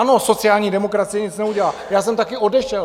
Ano, sociální demokracie nic neudělá, já jsem taky odešel.